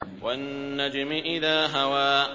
وَالنَّجْمِ إِذَا هَوَىٰ